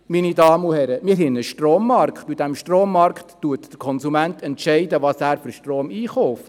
Meine Damen und Herren, wir haben einen Strommarkt, und in diesem Strommarkt entscheidet der Konsument, welchen Strom er einkauft.